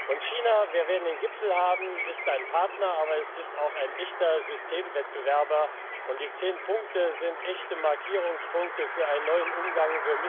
Und China wir werden den Gipfel haben ist ein Partner, aber es ist auch ein echter Systemwettbewerber, und die zehn Punkte sind echte Markierungspunkte für einen neuen Umgang.